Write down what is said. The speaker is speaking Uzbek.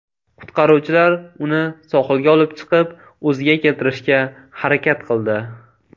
Qutqaruvchilar uni sohilga olib chiqib, o‘ziga keltirishga harakat qildi.